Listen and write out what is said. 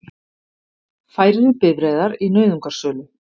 Færri bifreiðar í nauðungarsölu